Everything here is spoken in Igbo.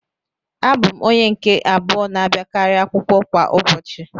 Abụ m onye nke abụọ na-abịakarị akwụkwọ kwa ụbọchị